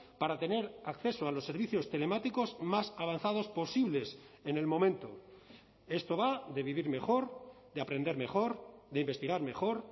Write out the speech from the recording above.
para tener acceso a los servicios telemáticos más avanzados posibles en el momento esto va de vivir mejor de aprender mejor de investigar mejor